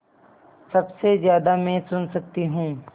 सबसे ज़्यादा मैं सुन सकती हूँ